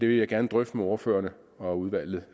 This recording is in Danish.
vil gerne drøfte med ordførererne og udvalget